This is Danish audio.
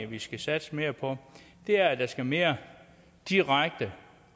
vi skal satse mere på er at der skal mere direkte